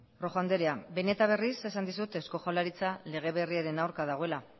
rojo anderea behin eta berriz esan dizut eusko jaurlaritza lege berriaren aurka dagoela